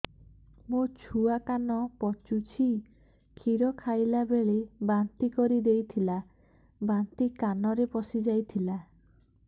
ମୋ ଛୁଆ କାନ ପଚୁଛି କ୍ଷୀର ଖାଇଲାବେଳେ ବାନ୍ତି କରି ଦେଇଥିଲା ବାନ୍ତି କାନରେ ପଶିଯାଇ ଥିଲା